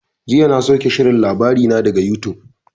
Jiya na sauke shirin labarina daga yutub.